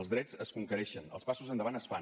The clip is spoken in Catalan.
els drets es conquereixen els passos endavant es fan